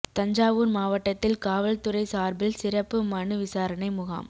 தஞ்சாவூா் மாவட்டத்தில் காவல் துறை சாா்பில் சிறப்பு மனு விசாரணை முகாம்